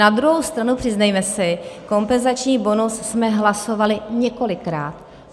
Na druhou stranu přiznejme si, kompenzační bonus jsme hlasovali několikrát.